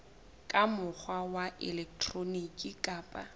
ka mokgwa wa elektroniki kapa